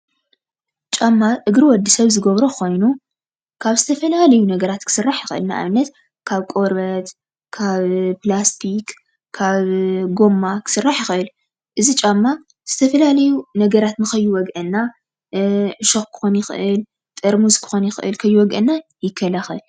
ጫማ እግሪ ወዲ ሰብ ዝገብሮ ኮይኑ ካብ ዝተፈላለዩ ነገራት ክስራሕ ይኽእል ፡፡ ንኣብነት ካብ ቆርበት ካብ ፕላስቲ ካብ ጉማ ክስራሕ ይኽእል። እዚ ጫማ ዝተፈላለዩ ነገራት ንከይወግአና ዕሾክ ክኾን ይኽእል፣ ጥርሙዝ ክኾን ይኽእል ከይወግአና ይከላኸል፡፡